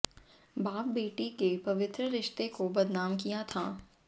बाप बेटी के पवित्र रिश्ते को बदनाम किया था